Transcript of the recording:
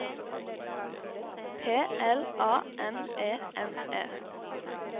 P L A N E N E